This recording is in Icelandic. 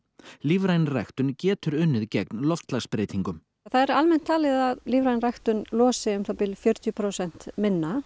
lífræn ræktun getur unnið gegn loftslagsbreytingum það er almennt talið að lífræn ræktun losi um það bil fjörutíu prósent minna